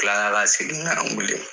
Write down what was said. Kila la ka segin kana n wele